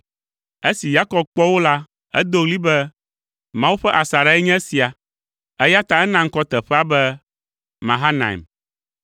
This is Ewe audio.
Esi Yakob kpɔ wo la, edo ɣli be, “Mawu ƒe asaɖae nye esia!” Eya ta ena ŋkɔ teƒea be Mahanaim.